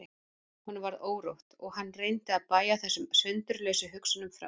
Honum varð órótt og hann reyndi að bægja þessum sundurlausu hugsunum frá sér.